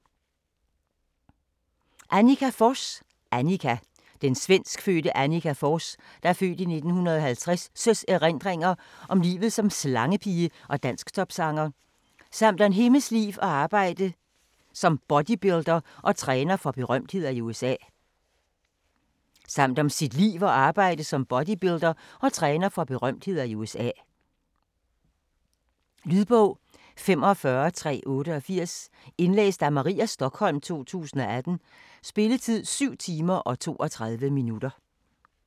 Forss, Anniqa: Anniqa Den svenskfødte Anniqa Forss' (f. 1950) erindringer om livet som slangepige og dansktopsanger, samt om hendes liv og arbejde som bodybuilder og træner for berømtheder i USA. Lydbog 45388 Indlæst af Maria Stokholm, 2018. Spilletid: 7 timer, 32 minutter.